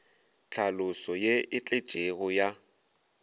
tlhaloso ye e tletšego ya